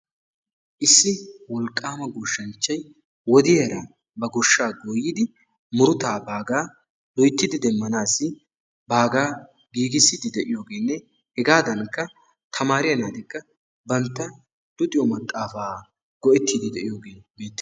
Issi wolqqaama goshshanchchay wodiyara ba goshshaa goyyidi murutaa baagaa loyttidi demmanaassi baagaa giigissiiddi de'iyogeenne hegaadankka tamaariya naatikka maxaafaa baagaa go'ettiiddi de'iyogee beettees.